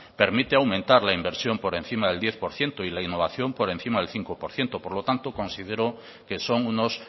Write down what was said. permite aumentar la inversión por encima del diez por ciento y la innovación por encima del cinco por ciento por lo tanto considero que son unos